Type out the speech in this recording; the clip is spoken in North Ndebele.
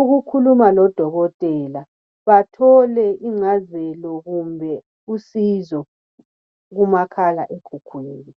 ukukhuluma lodokotela bathole ingcazelo kumbe usizo kumakhala ekhukhwini.